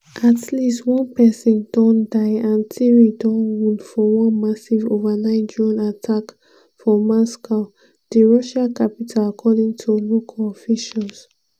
at least one pesin don die and three don wound for one "massive" overnight drone attack for moscow di russia capital according to local officials.